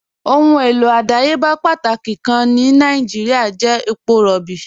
Ọ̀hun èlò ọdàyébà pátákì kàn ni Nàìjíríà jẹ̀ èpọ̀ róbí.